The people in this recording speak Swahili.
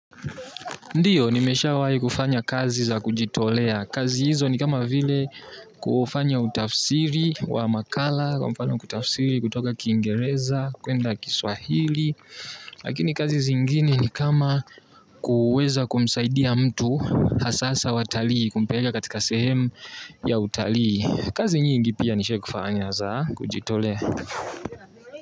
Ndiyo nimeshawai kufanya kazi za kujitolea. Kazi hizo ni kama vile kufanya utafsiri wa makala kwa mfano kutafsiri kutoka kingereza kuenda kiswahili. Lakini kazi zingine ni kama kuweza kumsaidia mtu hasasa watali kumpeleka katika sehemu ya utali. Kazi nyingi pia nishawai kufanya za kujitolea.